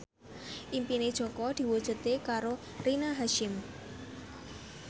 impine Jaka diwujudke karo Rina Hasyim